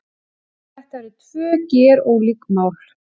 Þetta eru tvö gerólík mál